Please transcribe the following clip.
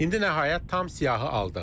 İndi nəhayət tam siyahı aldıq.